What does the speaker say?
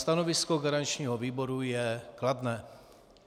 Stanovisko garančního výboru je kladné.